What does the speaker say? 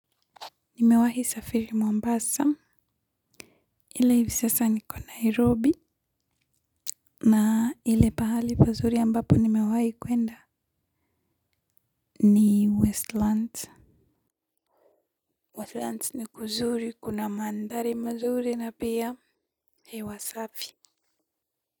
Nimewahi safiri Mombasa. Ile hivi sasa niko Nairobi. Na ile pahali pazuri ambapo nimewahi kwenda. Ni Westlands. Westlands ni kuzuri kuna mandhari mazuri na pia. Hewa safi.